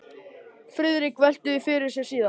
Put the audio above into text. Friðrik velti því fyrir sér síðar.